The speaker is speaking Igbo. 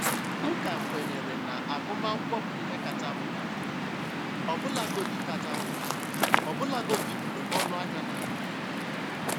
M ka kwenyere na agụmakwụkwọ bụ ihe kacha mkpa, ọbụlagodi kacha mkpa, ọbụlagodi mgbe ọnụ ahịa na-arị elu.